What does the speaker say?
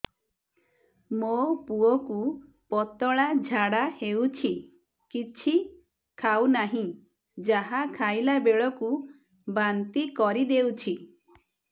ମୋ ପୁଅ କୁ ପତଳା ଝାଡ଼ା ହେଉଛି କିଛି ଖାଉ ନାହିଁ ଯାହା ଖାଇଲାବେଳକୁ ବାନ୍ତି କରି ଦେଉଛି